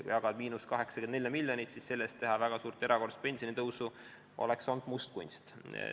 Kui jagada –84 miljonit, siis sellest väga suurt erakorralist pensionitõusu teha oleks olnud mustkunst.